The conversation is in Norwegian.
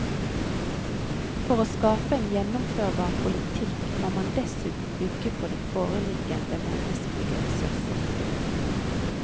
For å skape en gjennomførbar politikk må man dessuten bygge på de foreliggende menneskelige ressurser.